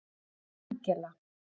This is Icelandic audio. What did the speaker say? Angela